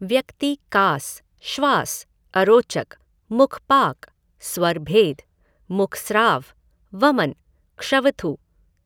व्यक्ति कास, श्वास, अरोचक, मुखपाक, स्वरभेद, मुखस्राव, वमन, क्षवथु,